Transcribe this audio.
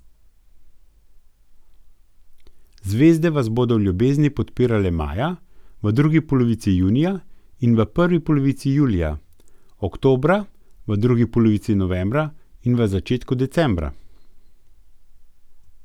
Zvezde vas bodo v ljubezni podpirale maja, v drugi polovici junija in prvi polovici julija, oktobra, v drugi polovici novembra in v začetku decembra.